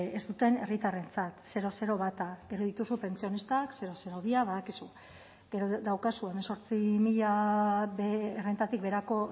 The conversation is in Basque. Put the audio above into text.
ez duten herritarrentzat bata gero dituzu pentsionistak bia badakizu gero daukazu hemezortzi mila errentatik beherako